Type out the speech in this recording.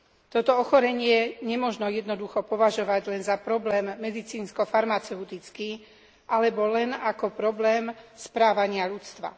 Toto ochorenie nemožno jednoducho považovať len za problém medicínsko farmaceutický alebo len za problém správania ľudstva.